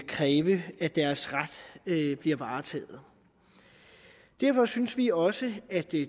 kræve deres ret varetaget derfor synes vi også at det